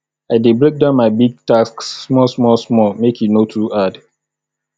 i dey break down big tasks small small small make e no too hard